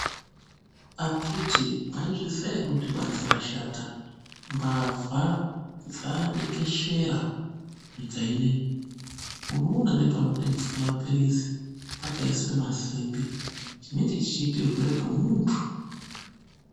Akhiti mwaizviziya ere kuti banze rashata, mbavha dzadekeshera nyika inei. Unoona nepanotengeswa mapirizi pakaiswe masimbi chinenge chichiitirwepo muntu.